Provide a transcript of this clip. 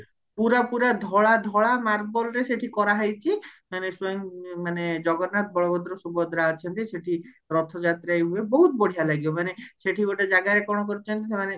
ପୁରା ପୁରା ଧଳା ଧଳା ମାର୍ବଲରେ ସେଠି କର ହେଇଚି ମାନେ ସ୍ଵୟଂ ମାନେ ଜଗନ୍ନାଥ ବଳଭଦ୍ର ସୁଭଦ୍ରା ଅଛନ୍ତି ସେଠି ରଥ ଯାତ୍ରା ବି ହୁଏ ବହୁତ ବଢିଆ ଲାଗିବା ମାନେ ସେଠି ଗୋଟେ ଜାଗାରେ କଣ କରିଚନ୍ତି ସେମାନେ